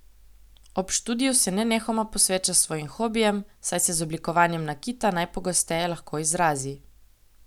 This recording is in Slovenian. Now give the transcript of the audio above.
Ob študiju se nenehoma posveča svojim hobijem, saj se z oblikovanjem nakita najpogosteje lahko izrazi.